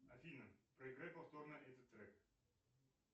афина проиграй повторно этот трек